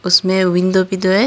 इसमें विंडो भी दो है।